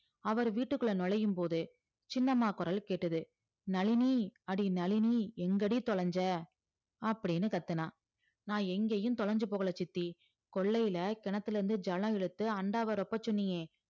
அவர் வீட்டுக்குள்ள நுழையும் போது சின்னம்மா குரல் கேட்டது நளினி அடி நளினி எங்கடி தொலைஞ்ச அப்டின்னு கத்துனா நா எங்கயும் தொலைஞ்சி போகல சித்தி கொல்லைல கிணத்துல இருந்து ஜலத்த எடுத்து அண்டாவ ரொப்ப சொன்னியே